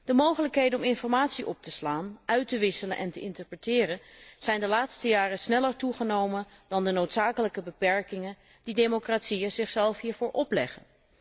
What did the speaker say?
De mogelijkheden om informatie op te slaan, uit te wisselen en te interpreteren zijn de laatste jaren sneller toegenomen dan de noodzakelijke beperkingen die democratieën zichzelf hiervoor opleggen.